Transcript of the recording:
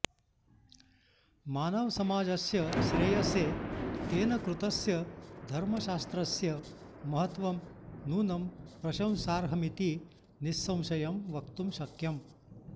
मानवसमाजस्य श्रेयसे तेन कृतस्य धर्मशास्त्रस्य महत्त्वं नूनं प्रशंसार्हमिति निःसंशयं वक्तुं शक्यम्